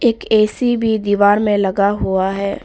एक ए_सी भी दीवार में लगा हुआ है।